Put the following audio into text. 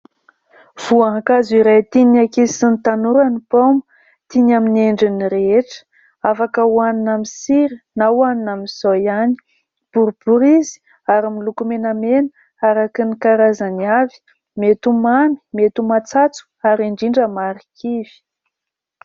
Voankazo iray tian'ny ankizy sy ny tanora ny paoma. Tiany amin'ny endriny rehetra, afaka ho hanina amin'ny sira na ho hanina amin'izao ihany. Boribory izy ary miloko menamena araka ny karazany avy. Mety ho mamy, mety ho matsatso ary indrindra marikivy.